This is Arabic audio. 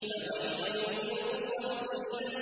فَوَيْلٌ لِّلْمُصَلِّينَ